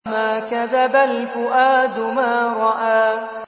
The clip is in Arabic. مَا كَذَبَ الْفُؤَادُ مَا رَأَىٰ